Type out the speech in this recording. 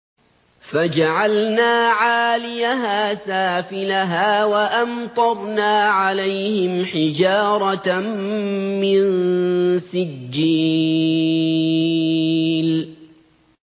فَجَعَلْنَا عَالِيَهَا سَافِلَهَا وَأَمْطَرْنَا عَلَيْهِمْ حِجَارَةً مِّن سِجِّيلٍ